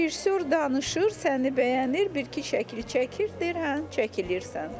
Rejissor danışır, səni bəyənir, bir-iki şəkil çəkir, deyir hə çəkilirsən.